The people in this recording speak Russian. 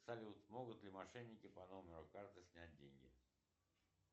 салют могут ли мошенники по номеру карты снять деньги